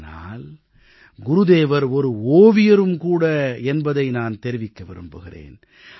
ஆனால் குருதேவர் ஒரு ஓவியரும் கூட என்பதை நான் தெரிவிக்க விரும்புகிறேன்